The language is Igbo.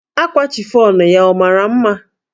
Akwa chifọnụ ya ọ mara mma?